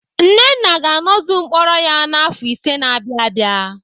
Nnenna ga-anọzu mkpọrọ ya n'afọ ise na-abịa abịa.